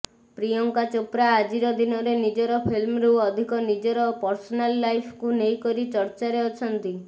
ପ୍ରିୟଙ୍କା ଚୋପ୍ରା ଆଜିର ଦିନରେ ନିଜର ଫିଲ୍ମରୁ ଅଧିକ ନିଜର ପର୍ସନାଲ ଲାଇଫକୁ ନେଇକରି ଚର୍ଚ୍ଚାରେ ଅଛନ୍ତି